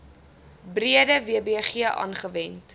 breede wbg aangewend